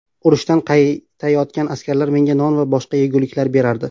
Urushdan qaytayotgan askarlar menga non va boshqa yeguliklar berardi.